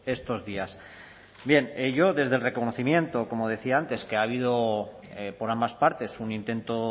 estos días bien yo desde el reconocimiento como decía antes que ha habido por ambas partes un intento